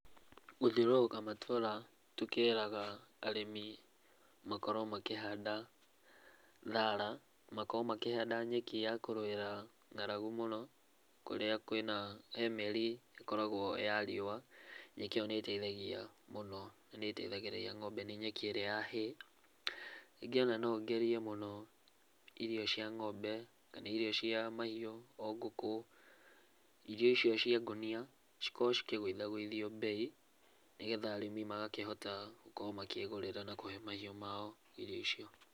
Gũthĩũrũka matũra tũkĩraga arĩmĩ makorwo makĩhanda thara ,makorwo makĩhanda nyeki ya kũrũira ng'aragu mũno kũrĩa kwĩna , he mĩieri ĩkoragwo ya riũa, nyeki ĩyo nĩ iteithagia mũno na nĩ iteithagĩrĩria ng'ombe na nĩ nyeki ĩríĩ ya Hay, rĩngĩ ona no ngerĩe mũno irio cia ng'ombe kana irio cia mahiũ ta ngũkũ irio icio cia ngũnia cikorwo ikĩgũitha gũithio mbei nĩgetha arĩmi magakorwo makĩhota gũkorwo makĩgũrĩra mahiũ mao irio icio.